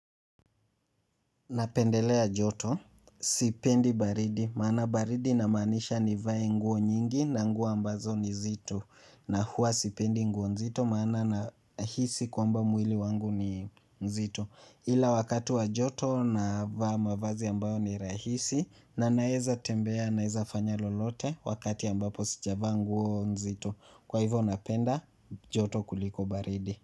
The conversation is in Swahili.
Napendelea joto sipendi baridi maana baridi inamaanisha nivae nguo nyingi na nguo ambazo ni nzito na huwa sipendi nguo nzito maana nahisi kwamba mwili wangu ni nzito ila wakati wa joto navaa mavazi ambayo ni rahisi na naweza tembea naweza fanya lolote wakati ambapo sijavaa nguo nzito kwa hivyo napenda joto kuliko baridi.